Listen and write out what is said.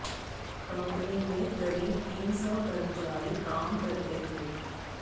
company में करीब तीन सौ कर्मचारी काम करते थे